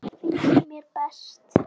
Það finnst mér best.